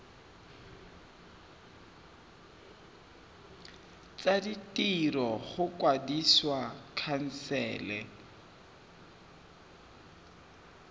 tsa ditiro go kwadisa khansele